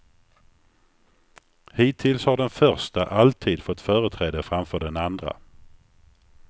Hittills har den första alltid fått företräde framför den andra.